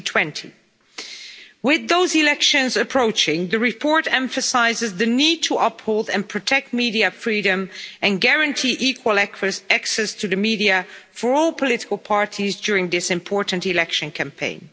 2020. With those elections approaching, the report emphasises the need to uphold and protect media freedom and guarantee equal access to the media for all political parties during this important election campaign.